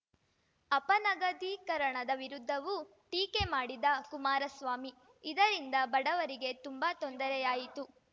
ಅಪನಗದೀಕರಣದ ವಿರುದ್ಧವೂ ಟೀಕೆ ಮಾಡಿದ ಕುಮಾರಸ್ವಾಮಿ ಇದರಿಂದ ಬಡವರಿಗೆ ತುಂಬಾ ತೊಂದರೆಯಾಯಿತು